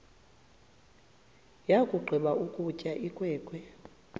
yakugqiba ukutya inkwenkwe